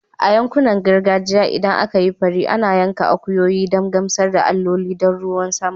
A yankunan gargajiya, idan aka yi fari, ana yanka akuyoyi don gamsar da alloli don ruwan sama